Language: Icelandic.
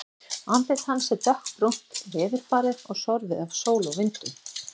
Andlit hans er dökkbrúnt, veðurbarið og sorfið af sól og vindum.